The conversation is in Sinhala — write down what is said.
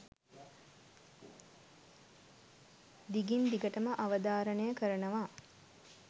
දිගින් දිගටම අවධාරණය කරනවා.